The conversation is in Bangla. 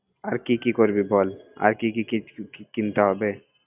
আর কি কি করবি বলআর কি কি কিনতে হবে